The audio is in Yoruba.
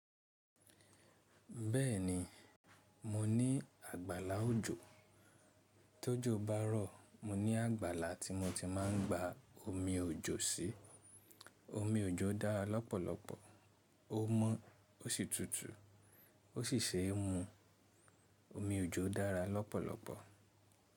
Bẹ́ẹ̀ni, mo ní àgbàlá òjò. Tójó bá rọ̀, mo ní àgbàlá tí mo ti máa ń gba omi òjò sí. Omi òjò dára lọ́pọ̀lọpọ̀. Ó mọ́, ó sì tùtù, ó sì ṣe é mu. Omi òjò dára lọ́pọ̀lọpọ̀.